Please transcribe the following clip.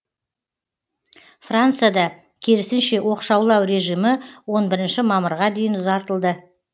францияда керісінше оқшаулау режимі он бірінші мамырға дейін ұзартылды